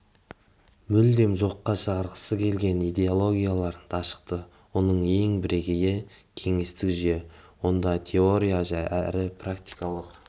мүлде жоққа шығарғысы келген идеологиялар дашықты оның ең бірегейі кеңестік жүйе онда теориялық әрі практикалық